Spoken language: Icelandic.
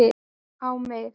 á mig